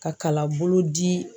Ka kalanbolo di